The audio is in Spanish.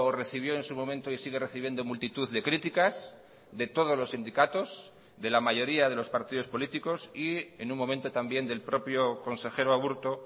recibió en su momento y sigue recibiendo multitud de críticas de todos los sindicatos de la mayoría de los partidos políticos y en un momento también del propio consejero aburto